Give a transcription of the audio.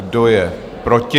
Kdo je proti?